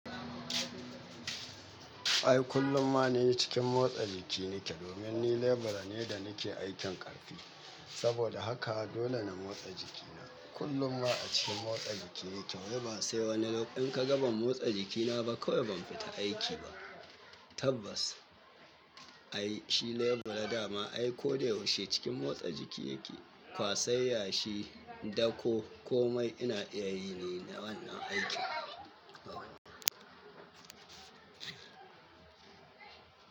Ai kullum ma ni cikin motsa jiki nake domin ni lebura ne da nake aikin ƙarfi. Saboda haka dole na motsa jiki na. Kullum ma a cikin motsa jiki nake wai ba sai wani loka-- in ka ga ban motsa jiki na ba kawai ban fita aiki ba. Tabbas ai shi lebura dama ai ko da yaushe cikin motsa jiki yake. Kwasar yashi, dako ko mai ina iyayi ni na wannan aikin.